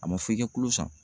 ƆA ma fɔ i ka kulo san.